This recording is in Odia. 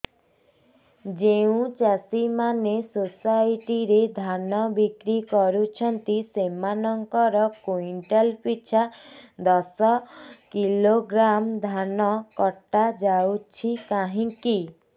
ଯେଉଁ ଚାଷୀ ମାନେ ସୋସାଇଟି ରେ ଧାନ ବିକ୍ରି କରୁଛନ୍ତି ସେମାନଙ୍କର କୁଇଣ୍ଟାଲ ପିଛା ଦଶ କିଲୋଗ୍ରାମ ଧାନ କଟା ଯାଉଛି କାହିଁକି